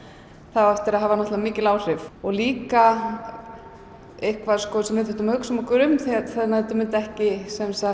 það á eftir að hafa mikil áhrif líka eitthvað sem við þurftum að hugsa okkur um að þetta myndi ekki